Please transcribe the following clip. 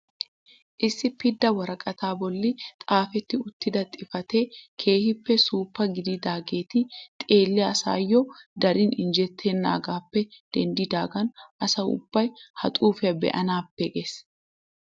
Issi pidda woraqataa bolli xaafetti uttida xifateti keehippe suuppa gididaageti xeelliyaa asaayoo darin injjetenagaappe denddidaagan asa ubbay ha xuufiyaa be'anaappe gees.